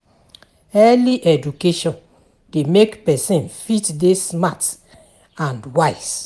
Early education de make persin fit de smart and wise